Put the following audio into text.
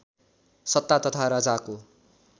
सत्ता तथा राजाको